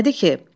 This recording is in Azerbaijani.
Nədir ki?